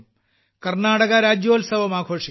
കർണ്ണാടക രാജ്യോൽസവം ആഘോഷിക്കും